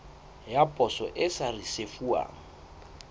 ya poso e sa risefuwang